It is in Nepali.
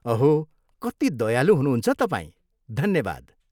अहो, कति दयालु हुनुहुन्छ तपाईँ, धन्यवाद।